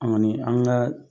An ka